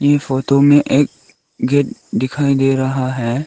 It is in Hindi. इ फोटो में एक गेट दिखाई दे रहा है।